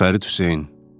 Fərid Hüseyn.